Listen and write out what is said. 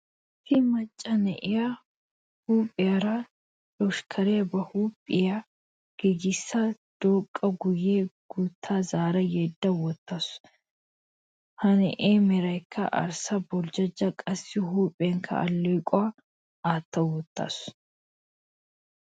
Issi macca na'iyaa huuphiyaara loshkkaariyaa ba huuphiyaa giigissa dooqada guyye guutti zaara yedda wottasu. Ha na'iyaa merankka arssa boljjojja qassi huuphiyankka allequwaa aatta wottaasu.